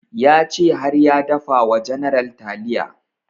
Ya ce har ya dafa wa general taliya